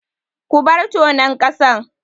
Ku bar tonon ƙasan!